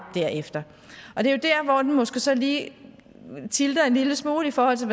derefter og det er dér hvor den måske så lige tilter en lille smule i forhold til